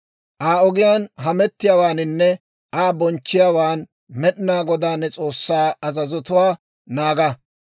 «Aa ogiyaan hamettiyaawaaninne Aa bonchchiyaawan Med'inaa Godaa ne S'oossaa azazotuwaa naaga.